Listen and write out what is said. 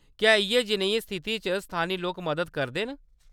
क्या‌ इʼयै जनेहियें स्थितियें च स्थानी लोक मदद करदे न ?